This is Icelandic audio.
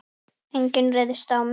Enginn ryðst á mig.